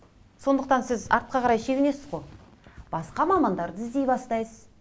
сондықтан сіз артқа қарай шегінесіз ғой басқа мамандарды іздей бастайсыз